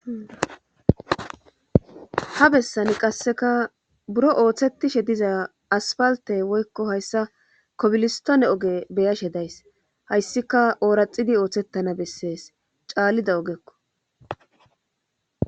ha bessani qasseka buro ooththetishe diza aspalte woykko hayssa kobilistone oge beyashe days hayssika ooraxidi ooththettana bessees caallida ogekko